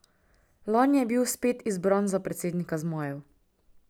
Lani je bil spet izbran za predsednika zmajev.